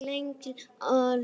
Löngum gangi er lokið.